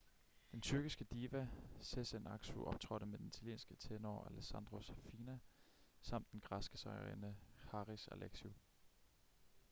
den tyrkiske diva sezen aksu optrådte med den italienske tenor alessandro safina samt den græske sangerinde haris alexiou